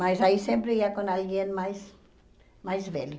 Mas aí sempre ia com alguém mais mais velho.